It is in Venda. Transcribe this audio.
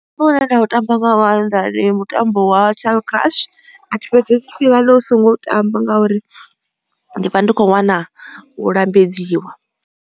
Mutambo une nda u tamba nga maanḓa ndi mutambo wa tall crush athi fhedzesi tshifhinga ndi songo u tamba ngauri ndi vha ndi khou wana u lambedziwa.